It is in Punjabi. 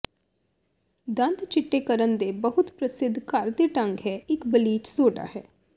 ਦੰਦ ਿਚੱਟੇਕਰਨ ਦੇ ਬਹੁਤ ਪ੍ਰਸਿੱਧ ਘਰ ਦੇ ਢੰਗ ਹੈ ਕਿ ਇੱਕ ਬਲੀਚ ਸੋਡਾ ਹੈ